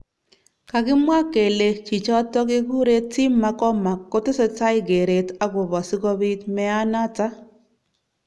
Kakimwa kele chichotok kekure Tim McCormack kotesetai keret akobo sikobit meanatak.